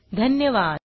सहभागासाठी धन्यवाद